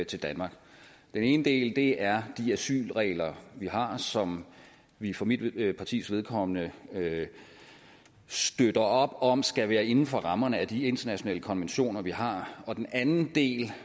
til danmark den ene del er de asylregler vi har og som vi for mit partis vedkommende støtter op om skal være inden for rammerne af de internationale konventioner vi har og den anden del